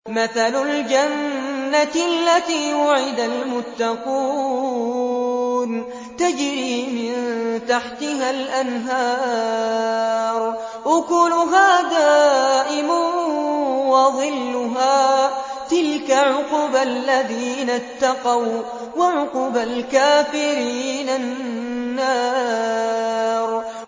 ۞ مَّثَلُ الْجَنَّةِ الَّتِي وُعِدَ الْمُتَّقُونَ ۖ تَجْرِي مِن تَحْتِهَا الْأَنْهَارُ ۖ أُكُلُهَا دَائِمٌ وَظِلُّهَا ۚ تِلْكَ عُقْبَى الَّذِينَ اتَّقَوا ۖ وَّعُقْبَى الْكَافِرِينَ النَّارُ